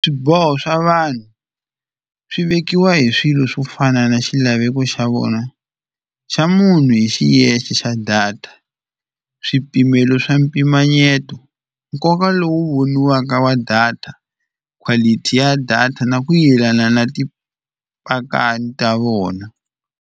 Swiboho swa vanhu swi vekiwa hi swilo swo fana na xilaveko xa vona xa munhu hi xiyexe xa data, swipimelo swa mpimanyeto, nkoka lowu voniwaka wa data, quality ya data na ku yelana na tipakani ta vona.